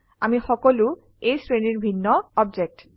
আমি সকলো এই শ্ৰেণীৰ ভিন্ন অবজেক্ট